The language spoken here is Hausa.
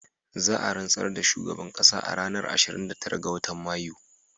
Za a rantsar da shugaban ƙasa a ranar ashirin da tara ga watan Mayu